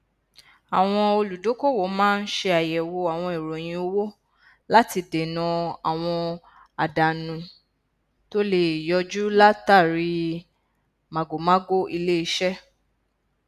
àwọn olùdókòwò máa n ṣàyẹwò àwọn ìròyìn owó láti dènà àwọn àdánù tó le yọjú látàrí màgòmágó iléiṣẹ